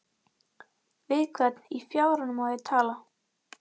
Við hvern í fjáranum á ég að tala?